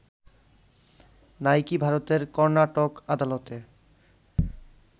Nike ভারতের কর্নাটক আদালতে